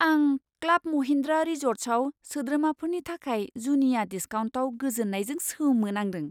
आं क्लाब महिन्द्रा रिज'र्ट्सआव सोद्रोमाफोरनि थाखाय जुनिया डिसकाउन्टआव गोजोन्नायजों सोमोनांदों!